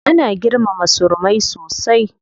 Ana girmama surumai sosai.